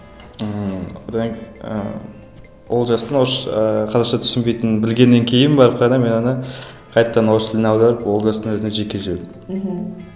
ммм одан ыыы олжастың ы қазақша түсінбейтінін білгеннен кейін барып қана мен оны қайтадан орыс тіліне аударып олжастың өзіне жеке жібердім мхм